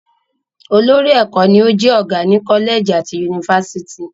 Olórí ẹ̀kọ́ ni o jẹ́ ọgá ni Kọ́lẹ̀gì àti Yunifásítì